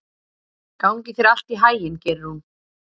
Gangi þér allt í haginn, Geirrún.